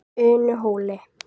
Unuhóli